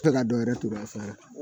A bɛ ka dɔ wɛrɛ turu a fara